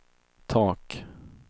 tak